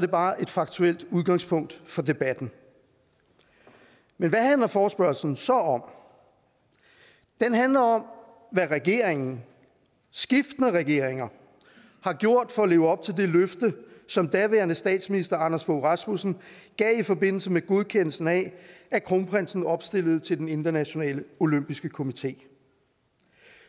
det bare et faktuelt udgangspunkt for debatten men hvad handler forespørgslen så om den handler om hvad regeringen skiftende regeringer har gjort for at leve op til det løfte som daværende statsminister anders fogh rasmussen gav i forbindelse med godkendelsen af at kronprinsen opstillede til den internationale olympiske komité